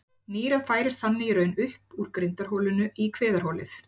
Nýrað færist þannig í raun upp úr grindarholinu í kviðarholið.